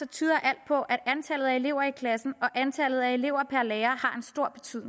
tyder alt på at antallet af elever i klassen og antallet af elever per lærer